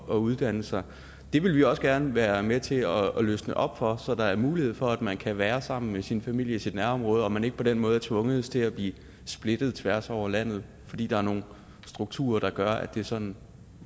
at uddanne sig det vil vi også gerne være med til at løsne op for så der er mulighed for at man kan være sammen med sin familie i sit nærområde og man ikke på den måde er tvunget til at blive splittet tværs over landet fordi der er nogle strukturer der gør at det er sådan